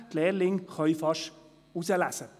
Die Lehrlinge können selber wählen.